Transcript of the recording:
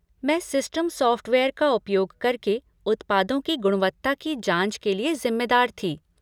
मैं system software का उपयोग करके उत्पादों की गुणवत्ता की जाँच के लिए जिम्मेदार थी।